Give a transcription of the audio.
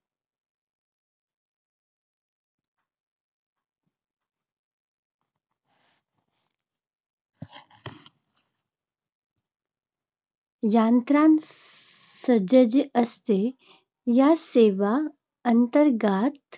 यंत्रणा सज्ज असते. या सेवा अंतर्गत